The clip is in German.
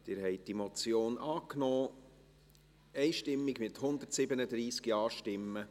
Sie haben diese Motion einstimmig angenommen, mit 137 Ja-Stimmen.